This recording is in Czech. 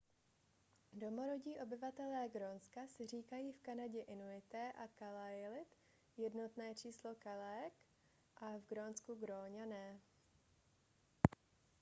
domorodí obyvatelé grónska si říkají v kanadě inuité a kalaallit jednotné číslo kalaalleq a v grónsku gróňané